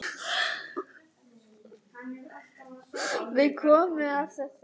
Við komum að þessu aftur.